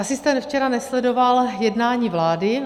Asi jste včera nesledoval jednání vlády.